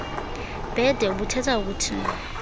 bhede ubuthetha ukuthini